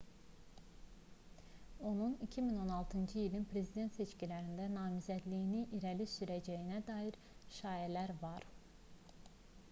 onun 2016-cı ilin prezident seçkilərində namizədliyini irəli sürəcəyinə dair şayiələr var